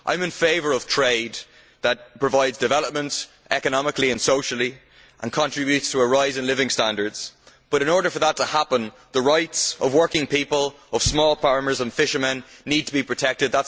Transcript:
I am in favour of trade that provides development economically and socially and contributes to a rise in living standards, but in order for that to happen, the rights of working people, of small farmers and fishermen need to be protected.